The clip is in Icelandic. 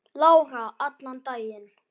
Lára: Allan daginn?